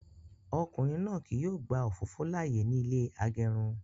Ọkùnrin náà kí yóò gba òfófó láàyè ní ilé agẹrun